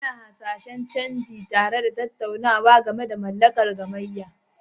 Ana hasashen canji, tare da tattaunawa game da mallakar gamayya.